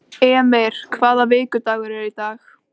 Emir, hvaða vikudagur er í dag?